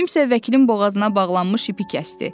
Kimsə vəkilin boğazına bağlanmış ipi kəsdi.